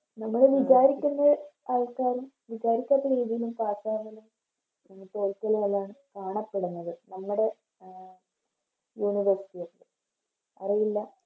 നിങ്ങള് വിചാരിക്കുന്ന ആൾക്കാരും വിചാരിക്കാത്ത രീതില് Pass ആവലും തോൽക്കലും എല്ലാം കാണപ്പെടുന്നത്ത് നമ്മടെ University ലോക്കെ അറിയില്ല